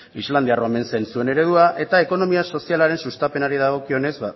islandia omen zen zuen eredua eta ekonomia sozialaren sustapenari dagokionez